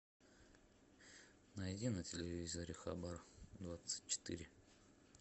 найди на телевизоре хабар двадцать четыре